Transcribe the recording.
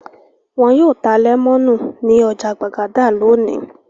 Wọn yóò ta lẹ́mọ́nù ní ọjà Gbàgádà lónìí.